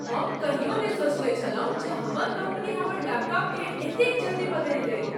हम कहियो नहि सोचने छलहुँ जे हमर कम्पनी हमर लैपटॉपकेँ एतेक जल्दी बदलि देत।